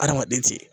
Adamaden ti